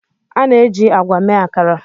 A na-eji agwa mee Akara.